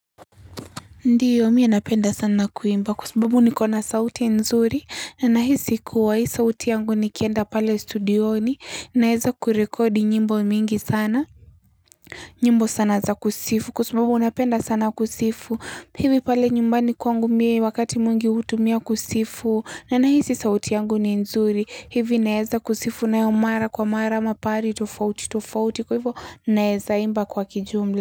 Ndio mie napenda sana kuimba kwa sababu nikona sauti nzuri na nahisi kuwa hii sauti yangu nikienda pale studioni naeza kurekodi nyimbo mingi sana nyimbo sana za kusifu kwa sababu napenda sana kusifu hivi pale nyumbani kwangu mie wakati mwingi hutumia kusifu na nahisi sauti yangu ni nzuri hivi naeza kusifu nayo mara kwa mara ama pahali tofauti tofauti kwa hivo naeza imba kwa kijumla.